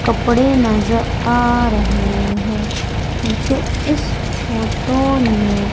कपड़े नजर आ रहे हैं मुझे इस फोटो में--